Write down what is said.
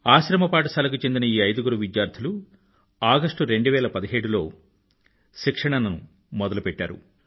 ఆశ్రమపాఠశాలకు చెందిన ఈ ఐదుగురు విద్యార్థులు ఆగస్టు 2017లో శిక్షణను మొదలుపెట్టారు